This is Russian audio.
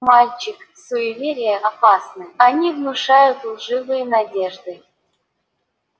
мальчик суеверия опасны они внушают лживые надежды